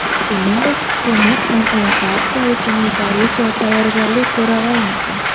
Shuningdek, hukumat ham evakuatsiya uchun yetarlicha tayyorgarlik ko‘ra olmadi.